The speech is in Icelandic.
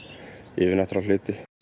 yfirnáttúrulega hluti